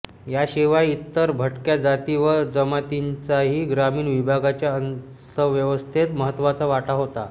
याशिवाय इतर भटक्या जाती व जमातींचाही ग्रामीण विभागाच्या अर्थव्यवस्थेत महत्त्वाचा वाटा होता